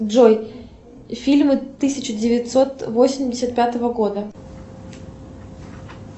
джой фильмы тысяча девятьсот восемьдесят пятого года